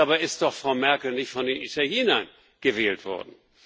Dabei ist doch Frau Merkel nicht von den Italienern gewählt worden.